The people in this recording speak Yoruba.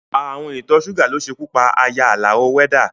Ààrùn ìtọ́ ṣúgà ló ṣekú pa aya Àlàó wẹ́dá